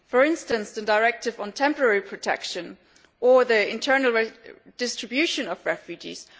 For instance, the directive on temporary protection or the internal distribution of refugees.